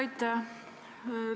Aitäh!